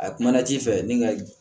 A kumana ji fɛ ni ka